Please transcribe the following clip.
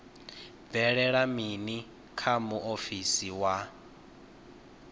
bvelela mini kha muofisi wa